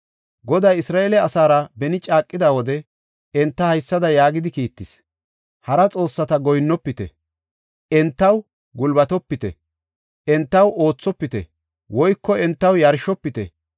Goday Isra7eele asaara beni caaqida wode, enta haysada yaagidi kiittis; “Hara xoossata goyinnofite; entaw gulbatopite; entaw oothopite woyko entaw yarshofite.